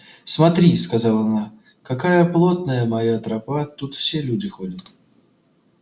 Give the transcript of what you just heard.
смотри сказала она какая плотная моя тропа тут все люди ходят